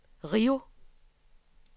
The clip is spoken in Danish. Rio